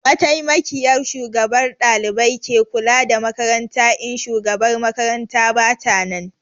Mataimakiyar Shugabar ɗalibai ke kula da makaranta in Shugabar makaranta bata nan